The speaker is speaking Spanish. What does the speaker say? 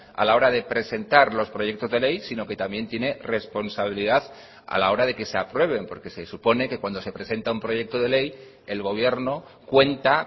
a la hora de presentar los proyectos de ley sino que también tiene responsabilidad a la hora de que se aprueben porque se supone que cuando se presenta un proyecto de ley el gobierno cuenta